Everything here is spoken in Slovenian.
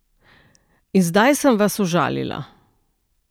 In zdaj sem vas užalila.